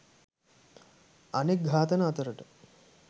අනෙක් ඝාතන අතරට